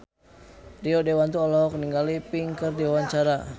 Rio Dewanto olohok ningali Pink keur diwawancara